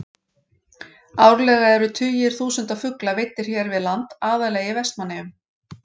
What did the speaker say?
Árlega eru tugir þúsunda fugla veiddir hér við land, aðallega í Vestmannaeyjum.